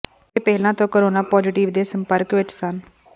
ਇਹ ਪਹਿਲਾਂ ਤੋਂ ਕੋਰੋਨਾ ਪਾਜ਼ੇਟਿਵ ਦੇ ਸੰਪਰਕ ਵਿਚ ਸਨ